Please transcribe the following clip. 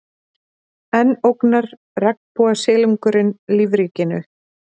Enn ógnar regnbogasilungurinn lífríkinu